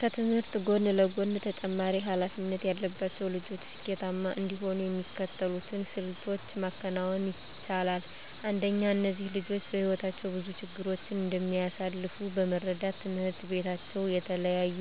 ከትምህርት ጎን ለጎን ተጨማሪ ሀላፊነት ያለባቸው ልጆች ስኬታማ እንዲሆኑ የሚከተሉትን ስልቶች ማከናወን ይቻላል። አንደኛ እነዚህ ልጆች በህይወታቸው ብዙ ችግሮችን እንደሚያሳልፍ በመረዳት ትምሕርት ቤታቸው የተለያዩ